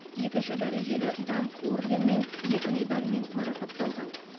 екінші дәрежелі даңқ орденімен екі медальмен марапатталған